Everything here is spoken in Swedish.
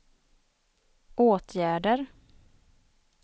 åtgärder